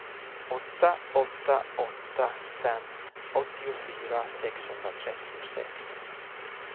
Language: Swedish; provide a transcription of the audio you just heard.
åtta åtta åtta fem åttiofyra sexhundratrettiosex